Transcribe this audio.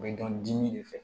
U bɛ dɔn dimi de fɛ